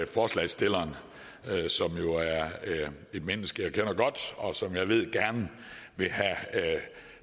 forslagsstillerne som jo er et menneske jeg kender godt og som jeg ved gerne vil have